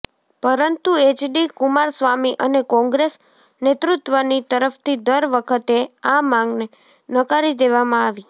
પરંતુ એચડી કુમારસ્વામી અને કોંગ્રેસ નેતૃત્વની તરફથી દર વખતે આ માંગને નકારી દેવામાં આવી